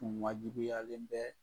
O wajibiyalen bɛɛ